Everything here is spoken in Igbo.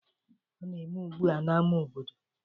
Ọ na-eme ugbu a n'ámá obodo